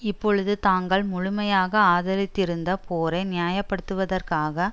இப்பொழுது தாங்கள் முழுமையாக ஆதரித்திருந்த போரை நியாயப்படுத்துவதற்காக